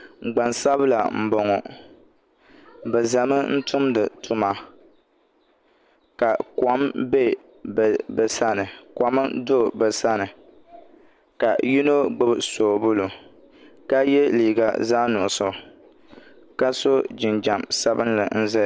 Gbansabila n boŋo bi ʒɛmi tumdi tuma ka kom do bi sani ka yino gbubi soobuli ka yɛ liiga zaɣ nuɣso ka so jinjɛm sabinli n ʒɛya